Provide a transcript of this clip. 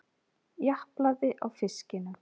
Japlaði á fiskinum.